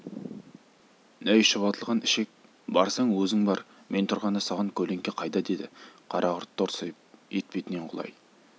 әй шұбатылған ішек барсаң өзің бар мен тұрғанда саған көлеңке қайда деді қарақұрт торсиып етбетінен құлай